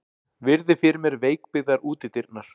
Virði fyrir mér veikbyggðar útidyrnar.